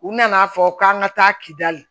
U nana fɔ k'an ka taa kidali